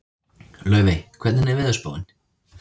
Laufey, hvernig er veðurspáin?